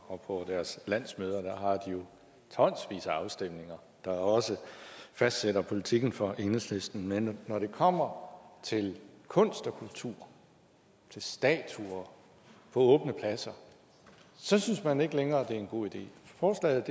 og på deres landsmøder har de tonsvis af afstemninger der også fastsætter politikken for enhedslisten men når det kommer til kunst og kultur til statuer på åbne pladser synes man ikke længere at det er en god idé forslaget